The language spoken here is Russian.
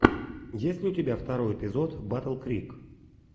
есть ли у тебя второй эпизод батл крик